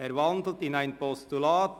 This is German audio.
Er wandelt in ein Postulat.